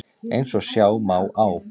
Eins og sjá má á